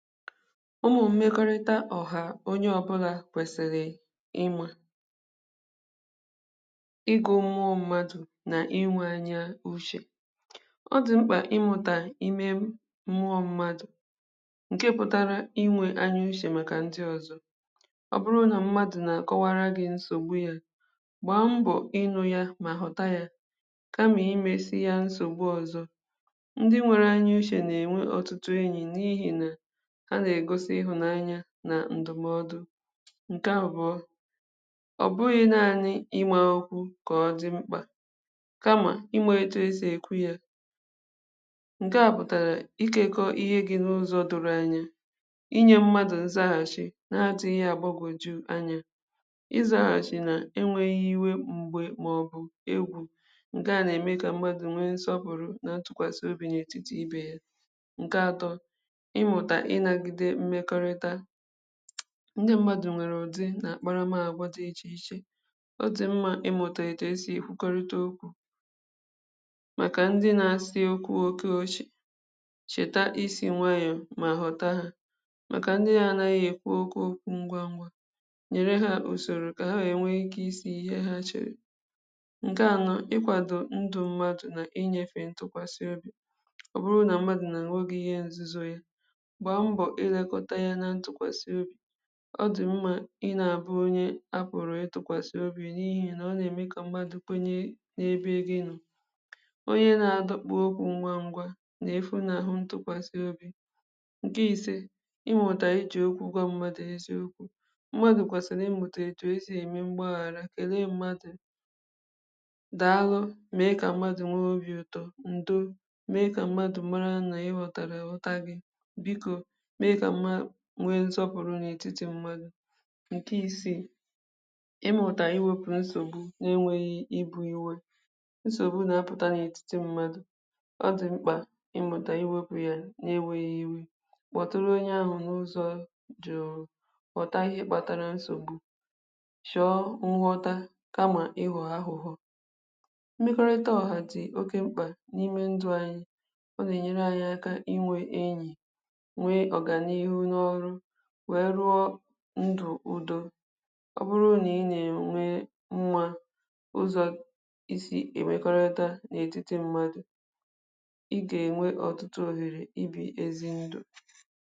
ụmụ̄ ọgụgụ isī mmekọrịta mmadụ̀ n’ibè ya onye ọbụlà kwèsị̀rị̀ inwē mmekọrịta anyị nà ndị ọzọ nà-èmetụta ihe ndị anyị n’ènweta na ndụ̀ ọbụrụ nà ànyị nwe nhọta bànyere mmekọrịta ọ gà ème kà anyị nwe udọ inwē ọrụ nà inwē ezigbo mmekọrịta ụmụ̀ social skills onye ọbụlà gà àmata ǹke mbụ igè ntị̀ ọma ịmụ̀ta igè ntị̀ n’ụzọ̀ ziri ezi nà-ème ka mmadụ̀ new ntụkwàsị obì n’ebe mmadụ̄ nọ̀ naanị̄ inyē ushè nà-ème kwa kà mmekọrịta dị n’ètiti gị nà ndị ọzọ sie ikē ǹke àbụ̀lọ ikwū kwa okwu n’ezi ushè mụ̀ta kwa isī okwū siri ezi mà hàra imēpụ̀tà mgbagwùju anyā gbalìsie ikē inwē obì ume àlà mà zère okwu n’ebute èsèmokwu ọ̀zọ bụ̀ inwē nkwanye ùgwù màkà ndị ọzọ mà mmadụ̀ òbùrù ibù mà ọ̀bụ̀ òpèrè m̀pe inwē èkèle nà nsọpụ̀rụ màkà ha nà akwàlite mmekọrịta siri ikē ǹke ọzọ bụ̀ ịmụ̀tà ịtụ̀ aka n’imē ọnọ̀dụ̀ gbagwùjùru anyā n’ụzọ̀ ndụ̀ ànyị nwèrè ike izùtè nsògbu ịmụ̀tà òtù esì ème mkpebì n’ụzọ̀ dị jụ̀ nà àgbanwè ọnọ̀dụ̀ ọ̀zọ bụ̀ ịnā èlebàra ndụ̀ ndị ọzọ anyā gbalìsie ikē ịhụ̄ ụzọ̀ ị gà esì ènyere ndị ọzọ aka ọ̀bụghị̄ m̀gbè niilē kà egō kà mmadụ̄ chọ̀rọ̀ ụ̀fọdụ m̀gbè aka nà atụ̀ na nkwàdo ndị ọzọ kà ha nà àshọ ndị be anyị ndụ̀ kà mmā m̀gbè ànyị nwèrè ụlọ̀ ọrụ̄ mmekọrịta mmadụ̀ nà ibè ya ǹke a nà-ènye akā inwēta ihe anyị shọ̀rọ̀ na ndụ̀ mụ̀ta kwa inwē èkèle igè ntị̀ nà inyē aka kà anyị na-ème nke a ànyi gà àhụ mmekọrịta anyị̀ nà ndị ọzọ gà àdɪ n’ùdo